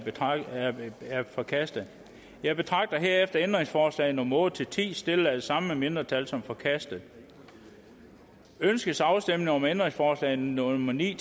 er forkastet jeg betragter herefter ændringsforslag nummer otte ti stillet af det samme mindretal som forkastet ønskes afstemning om ændringsforslag nummer ni